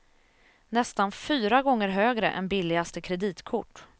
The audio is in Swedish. Nästan fyra gånger högre än billigaste kreditkort.